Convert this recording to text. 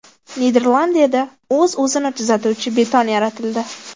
Niderlandiyada o‘z-o‘zini tuzatuvchi beton yaratildi.